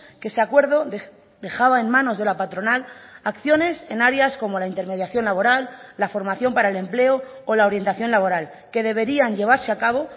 que ese acuerdo dejaba en manos de la patronal acciones en áreas como la intermediación laboral la formación para el empleo o la orientación laboral que deberían llevarse a cabo